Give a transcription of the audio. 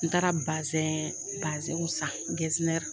N taara bazɛn bazɛnw san